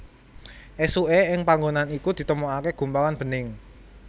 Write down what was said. Esuke ing panggonan iku ditemokake gumpalan bening